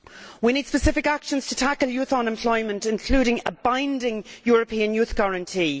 We need specific actions to tackle youth unemployment, including a binding European youth guarantee.